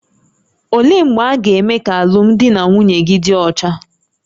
Olee mgbe a ga-eme ka alụmdi na nwunye gị dị ọcha?